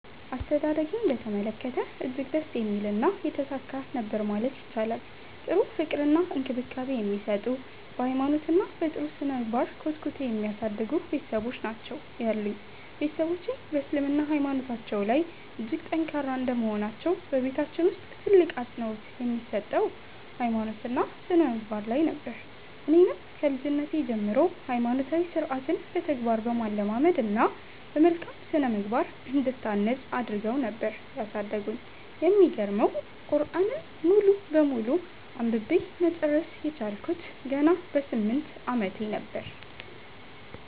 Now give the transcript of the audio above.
አስተዳደጌን በተመለከተ እጅግ ደስ የሚልና የተሳካ ነበር ማለት ይቻላል። ጥሩ ፍቅር እና እንክብካቤ የሚሰጡ፤ በ ሃይማኖት እና በ ጥሩ ስነምግባር ኮትኩተው የሚያሳድጉ ቤትሰቦች ናቸው ያሉኝ። ቤትሰቦቼ በ እስልምና ሃይማኖታቸው ላይ እጅግ ጠንካራ እንደመሆናቸው በቤታችን ውስጥ ትልቅ አፅንኦት የሚሰጠው ሃይማኖት እና ስነምግባር ላይ ነበር። እኔንም ከልጅነቴ ጀምሮ ሃይማኖታዊ ስርዓትን በተግባር በማለማመድ እና በመልካም ስነምግባር እንድታነፅ አድረገው ነበር ያሳደጉኝ። የሚገርመው ቁርዐንን ሙሉ በሙሉ አንብቤ መጨረስ የቻልኩት ገና በ 8 አመቴ ነበር።